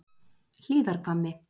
Hlíðarhvammi